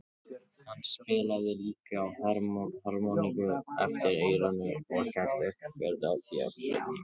Hann spilaði líka á harmoníku eftir eyranu og hélt uppi fjöri á böllum.